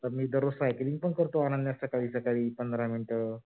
आता मी cycling पण करतो अनन्या सकाळी सकाळी पंधरा मिनिट.